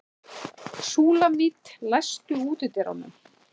Súlamít, læstu útidyrunum.